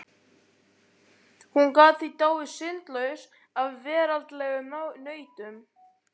Hún gat því dáið syndlaus af veraldlegum nautnum.